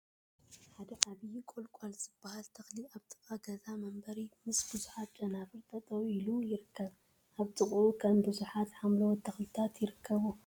ሓደ ዓብይ ቆላንቁል ዝበሃል ተክሊ አብ ጥቃ ገዛ መንበሪ ምስ ቡዙሓት ጨናፍር ጠጠው ኢሉ ይርከብ፡፡ አብ ጥቅኡ ከዓ ቡዙሓት ሓምለዎት ተክልታት ይርከቡ፡፡